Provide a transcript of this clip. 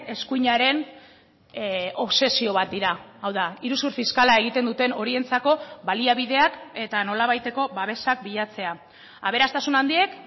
eskuinaren obsesio bat dira hau da iruzur fiskala egiten duten horientzako baliabideak eta nolabaiteko babesak bilatzea aberastasun handiek